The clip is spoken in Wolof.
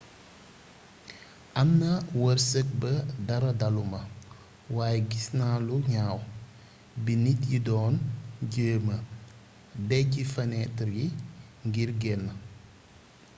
amna weerseek ba dara daluma waye gisna lu gnaw bi nit yi doon jéma dejji fanétar yi ngir génn